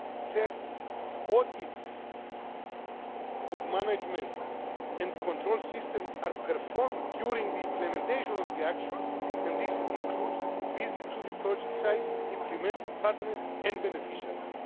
Third, audits of management and control systems are performed during the implementation of the action, and this includes visits to the project sites, implementing partners and beneficiaries.